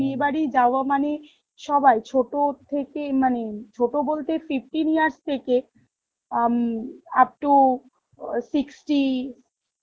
বিয়ে বাড়ি যাওয়া মানে সবাই ছোটো থেকে মানে ছোটো বলতে মানে fifteen years থেকে আম upto sixty